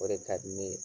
O de ka di ne ye